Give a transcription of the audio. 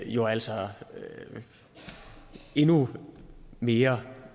jo altså endnu mere